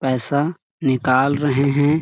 पैसा निकाल रहे है।